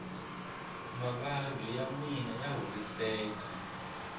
mavabyi yanwani ya horiseka